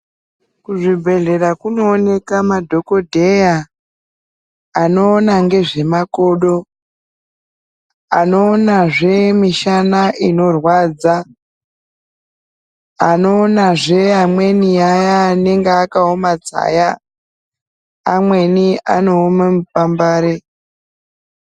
Kuzvibhedhlela kunowoneka madhokodheya anowona ngezvemakodo, anowona zvemishana inorwadza, anowona zve amweni aya anenge akawomadzaya, amweni anowome mpambare.